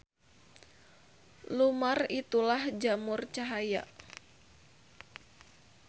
Lumar itulah jamur cahaya.